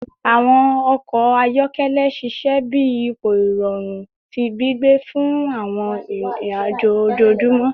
Awọn ọkọ ayọkẹlẹ ṣiṣẹ bi ipo irọrun ti gbigbe fun awọn irin-ajo ojoojumọ